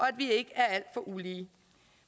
at vi ikke er alt for ulige